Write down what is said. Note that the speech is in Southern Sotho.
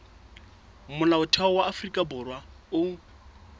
molaotheo wa afrika borwa o